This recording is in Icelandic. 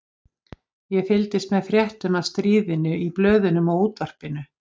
Ég fylgdist með fréttum af stríðinu í blöðunum og útvarpinu.